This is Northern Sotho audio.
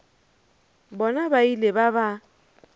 bona ba ile ba ba